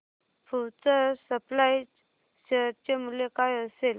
future supply share चे मूल्य काय असेल